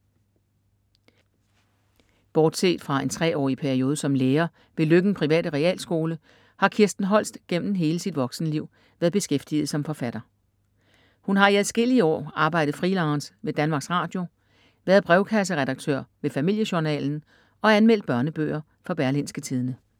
Bortset fra en 3-årig periode som lærer ved Løkken private Realskole, har Kirsten Holst gennem hele sit voksenliv været beskæftiget som forfatter. Hun har i adskillige år arbejdet freelance ved Danmarks Radio, været brevkasseredaktør ved Familiejournalen og anmeldt børnebøger for Berlingske Tidende.